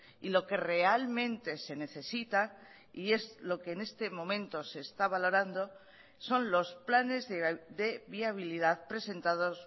y lo que realmente se necesita y es lo que en este momento se está valorando son los planes de viabilidad presentados